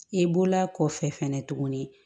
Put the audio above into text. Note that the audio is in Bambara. I bɔla kɔfɛ fɛnɛ tuguni